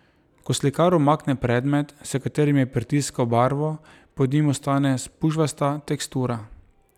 Ko slikar umakne predmet, s katerim je pritiskal barvo, pod njim ostane spužvasta tekstura.